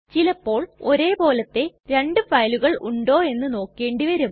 ചിലപ്പോൾ ഒരേ പോലത്തെ രണ്ടു ഫയലുകൾ ഉണ്ടോ എന്ന് നോക്കേണ്ടി വരും